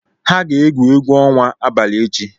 Ha ga-egwu egwu ọnwa abalị echi